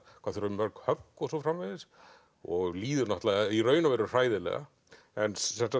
hvað þurfi mörg högg og svo framvegis og líður náttúrulega í raun og veru hræðilega en